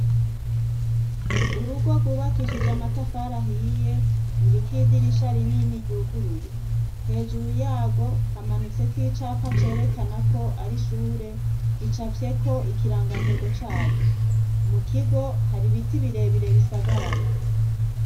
Urugo rwubakishije amatafari ahiye, ruriko idirisha rinini ryuguruye ,hejuru yarwo hamanitseko icapa cerekana ko ar' ishure gicafyeko ikirangantego caryo, mu kigo har' ibiti birebire bisagaraye.